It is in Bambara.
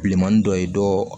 Bilenmanin dɔ ye dɔ